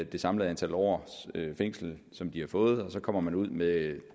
det samlede antal års fængsel som de har fået og så kommer man ud med